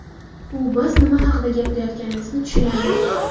U biz nima haqida gapirayotganimizni tushunadi.